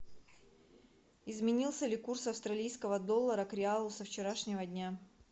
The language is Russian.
изменился ли курс австралийского доллара к реалу со вчерашнего дня